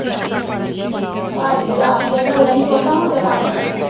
ਭਾਜੀ ਜਦੋਂ ਆਪ ਪਹਿਲਾ ਪੜੋ ਨਹੀਂ ਸੁੱਟਦਾ ਹੁਣ ਤੇ ਉਹ ਕੰਮ ਤੇ ਲੱਗਾ।